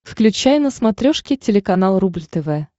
включай на смотрешке телеканал рубль тв